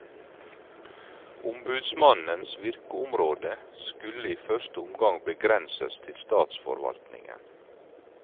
Ombudsmannens virkeområde skulle i første omgang begrenses til statsforvaltningen.